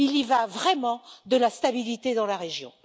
Il y va vraiment de la stabilité dans la région.